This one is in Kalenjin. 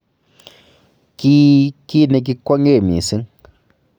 Kii ki nekikwongee missing